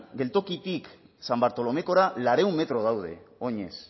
geltokitik san bartolomekora laurehun metro daude oinez